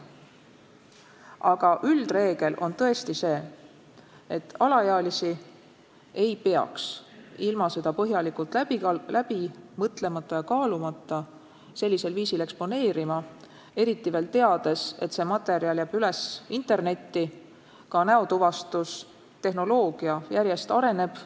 Aga üldreegel on tõesti see, et alaealisi ei tohiks ilma seda põhjalikult läbi mõtlemata ja kaalumata sellisel viisil eksponeerida, eriti veel teades, et materjal jääb üles internetti ja et ka näotuvastustehnoloogia järjest areneb.